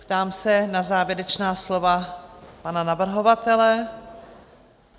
Ptám se na závěrečná slova pana navrhovatele.